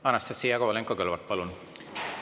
Anastassia Kovalenko-Kõlvart, palun!